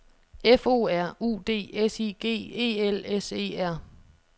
F O R U D S I G E L S E R